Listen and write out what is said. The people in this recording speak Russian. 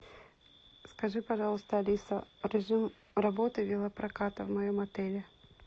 скажи пожалуйста алиса режим работы велопроката в моем отеле